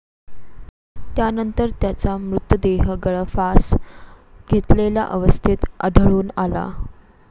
त्यानंतर त्याचा मृतदेह गळफास घेतलेल्या अवस्थेत आढळून आला.